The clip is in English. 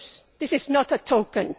This is not a token.